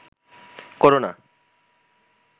করো না